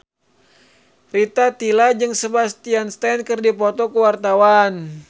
Rita Tila jeung Sebastian Stan keur dipoto ku wartawan